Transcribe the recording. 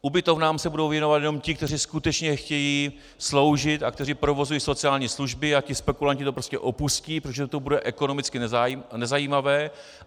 Ubytovnám se budou věnovat jenom ti, kteří skutečně chtějí sloužit a kteří provozují sociální služby, a ti spekulanti to prostě opustí, protože to bude ekonomicky nezajímavé.